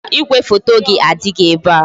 Mba, igwefoto gị adịghị ebe a